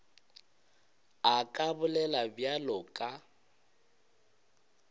a ka bolela bjalo ka